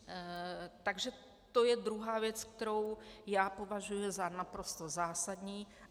Takže to je druhá věc, kterou já považuji za naprosto zásadní.